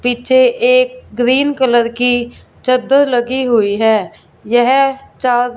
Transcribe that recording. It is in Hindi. पीछे एक ग्रीन कलर की चद्दर लगी हुई है यह चा--